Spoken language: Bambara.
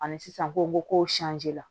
Ani sisan kow la